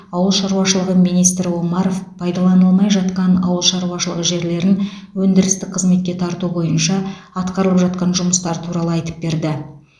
ауыл шаруашылығы министрі омаров пайдаланылмай жатқан ауыл шаруашылығы жерлерін өндірістік қызметке тарту бойынша атқарылып жатқан жұмыстар туралы айтып берді